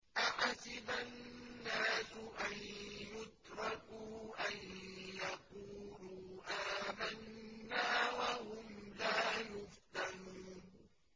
أَحَسِبَ النَّاسُ أَن يُتْرَكُوا أَن يَقُولُوا آمَنَّا وَهُمْ لَا يُفْتَنُونَ